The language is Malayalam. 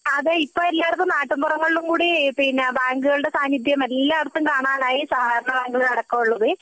അതെ ഇപ്പൊ എല്ലാടത്തും നാട്ടിൻപുറങ്ങളിൽ കൂടി പിന്നെ ബാങ്കുകളുടെ സാന്നിധ്യം എല്ലാടത്തും കാണാണ്ടായി സഹകരണ ബാങ്കുകൾ അടക്കമുള്ളത്